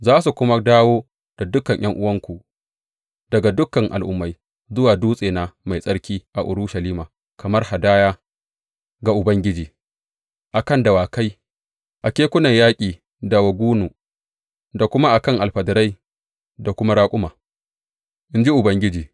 Za su kuma dawo da dukan ’yan’uwanku, daga dukan al’ummai, zuwa dutsena mai tsarki a Urushalima kamar hadaya ga Ubangiji, a kan dawakai, a kekunan yaƙi da wagonu, da kuma a kan alfadarai da kuma raƙuma, in ji Ubangiji.